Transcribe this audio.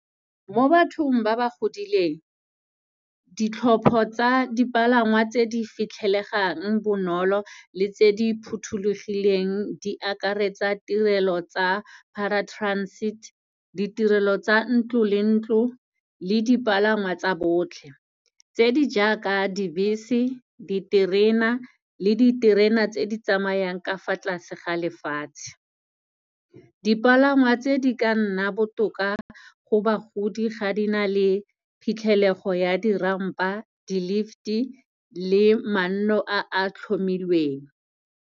Mo bathong ba ba godileng, ditlhopo tsa dipalangwa tse di fitlhelegang bonolo le tse di phuthulugileng di akaretsa tirelo tsa paratransit, di tirelo tsa ntlo le ntlo, le dipalangwa tsa botlhe tse di ja ka dibese, diterena le diterena tse di tsamayang ka fa tlase ga lefatshe. Dipalangwa tse di ka nna botoka go bagodi ga di na le phitlhelego ya di-rump-a, di-lift-e le manno a a tlhomilweng.